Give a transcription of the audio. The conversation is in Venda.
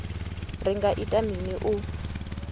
ri nga ita mini u